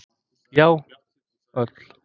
Já, öll.